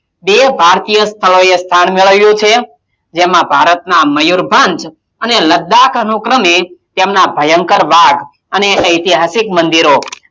બે ભારતીય સ્થળોએ સ્થાન મેળવ્યું છે જેમાં ભારતનાં મયુરભંજ અને લદ્દાક અનુક્રમે તેમનાં ભયંકર વાદ અને ઐતિહાસિક મંદિરો,